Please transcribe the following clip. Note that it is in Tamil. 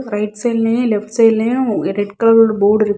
ரைட் சைடுலயு லெப்ட் சைடுலயு ரெட் கலர்ல ஒரு போர்டு இருக்கு.